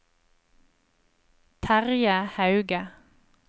Terje Hauge